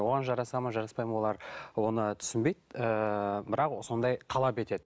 оған жарасады ма жараспайды ма олар оны түсінбейді ііі бірақ сондай талап етеді